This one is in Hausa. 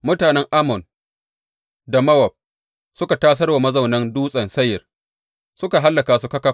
Mutanen Ammon da Mowab suka tasar wa mazaunan Dutsen Seyir, suka hallaka su ƙaƙaf.